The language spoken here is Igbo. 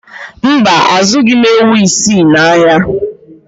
Mba, azụghị m ewu isii n'ahịa